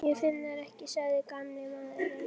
Ég finn þær ekki sagði gamli maðurinn.